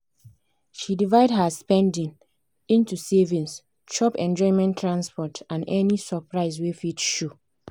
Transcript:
she divide her spending into savings chop enjoyment transport and any surprise wey fit show.